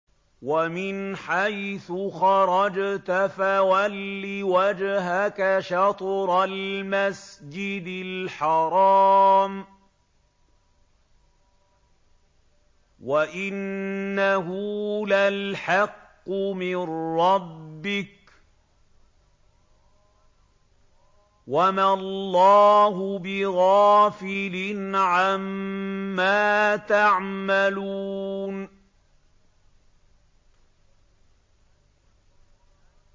وَمِنْ حَيْثُ خَرَجْتَ فَوَلِّ وَجْهَكَ شَطْرَ الْمَسْجِدِ الْحَرَامِ ۖ وَإِنَّهُ لَلْحَقُّ مِن رَّبِّكَ ۗ وَمَا اللَّهُ بِغَافِلٍ عَمَّا تَعْمَلُونَ